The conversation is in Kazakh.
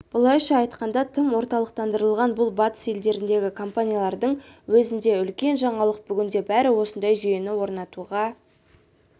былайша айтқанда тым орталықтандырылған бұл батыс елдеріндегі компаниялардың өзінде үлкен жаңалық бүгінде бәрі осындай жүйені орнатуға